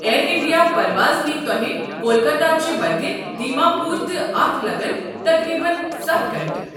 year India پرواز نیہِ تۄہہِ کولکاتہ چہِ وتہِ دیما پوٗر تہٕ اتھ لگَن تقریباً ستھَ گھنٹہٕ